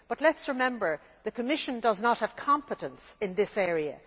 But let us remember that the Commission does not have competence in this area.